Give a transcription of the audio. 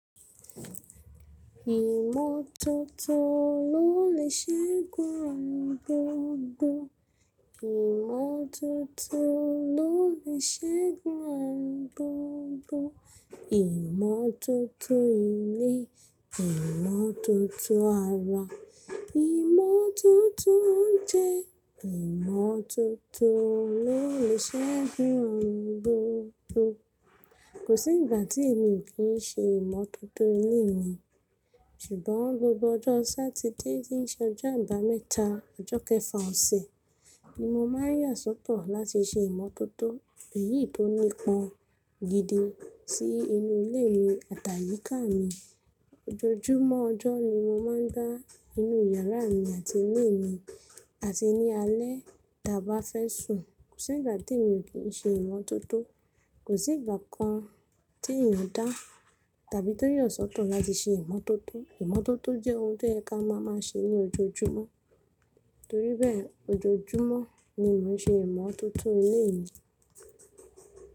Ìmọ́tótó ló lè ṣẹ́gun àrùn gbogbo. Ìmọ́tótó ló lè ṣẹ́gun àwọn gbogbo. Ìmọ́tótó ilé, ìmọ́tótó ara, ìmọ́tótó oúnjẹ, ìmọ́tótó ló lè ṣẹ́gun àwọn gbogbo. Kò sí ìgbà tí èmi ò kí ṣe ìmọ́tótó ilé mi. Ṣùgbọ́n gbogbo ọjọ́ Sátidé tí í ṣe ọjọ́ àbámẹ́ta ọjọ́ kẹfà ọ̀sẹ̀ ni mo máa ń yà sọ́tọ̀ láti ṣe ìmọ́tótó èyí tó nípọn gidi sí inú ilé mi àtàyíká mi. Ojoojúmọ́ ọjọ́ ni mo máa ń gbá inú yàrá mi àti inú mi àti ní alẹ́ tí a bá fẹ́ sùn. Kò sí ìgbà tí èmi ò kí ṣe ìmọ́tótó. Kò sí ìgbà kan tí èèyàn dá tàbí tó yẹ sọ́tọ̀ láti ṣe ìmọ́tótó. Ìmọ́tótó jẹ́ ohun tó yẹ ká máa má ṣe ní ojoojúmọ́. Torí bẹ́ẹ̀, ojoojúmọ́ ni mò ń ṣe ìmọ́tótó ilé mi.